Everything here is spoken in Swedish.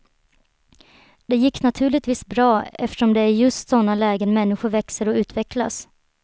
Det gick naturligtvis bra, eftersom det är i just såna lägen människor växer och utvecklas.